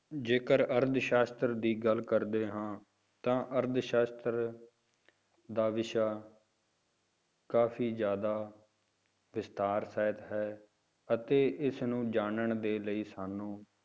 ਜੇਕਰ ਅਰਥ ਸਾਸ਼ਤਰ ਦੀ ਗੱਲ ਕਰਦੇ ਹਾਂ ਤਾਂ ਅਰਥਸਾਸ਼ਤਰ ਦਾ ਵਿਸ਼ਾ ਕਾਫ਼ੀ ਜ਼ਿਆਦਾ ਵਿਸਥਾਰ ਸਹਿਤ ਹੈ, ਅਤੇ ਇਸਨੂੰ ਜਾਨਣ ਦੇ ਲਈ ਸਾਨੂੰ